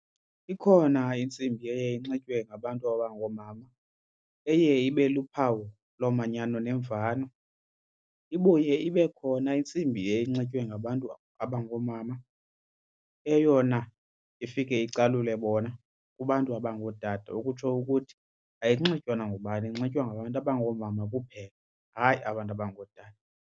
Ikhona iintsimbi eye inxitywe ngabantu abangoomama eye ibe luphawu lomanyano nemvano. Ibuye ibe khona intsimbi eye inxitywe ngabantu abangoomama eyona ifike icalule bona kubantu abangootata ukutsho ukuthi ayinxitywa nangubani inxitywa ngabantu abangoomama kuphela, hayi abantu abangootata.